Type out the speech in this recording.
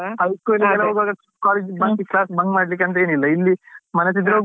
High school ಗೆ ಎಲ್ಲ ಹೋಗ್ವಾಗ college class ಗೆ bunk ಮಾಡ್ಲಿಕ್ಕೆ ಅಂತ ಏನಿಲ್ಲ ಇಲ್ಲಿ ಮನ್ಸಿದ್ರೆ ಹೋಗ್ಬಹುದು ಇಲ್ಲಾಂದ್ರೆ ಮನೇಲಿ ಕುತ್ಕೊಳ್ಳ್ಬಹುದು.